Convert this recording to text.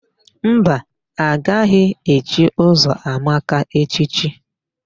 Mba, a gaghị echi Ụzọamaka echichi.